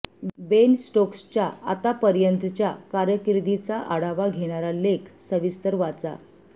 बेन स्टोक्सच्या आतापर्यंतच्या कारकीर्दीचा आढावा घेणारा लेख सविस्तर वाचा